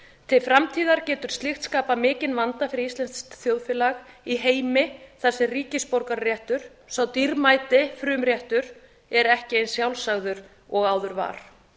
til framtíðar getur slíkt skapað mikinn vanda fyrir íslenskt þjóðfélag í heimi þar sem ríkisborgararéttur sá dýrmæti frumréttur er ekki eins sjálfsagður og áður var